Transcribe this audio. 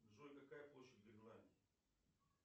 джой какая площадь гренландии